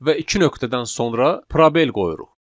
Və iki nöqtədən sonra probel qoyuruq.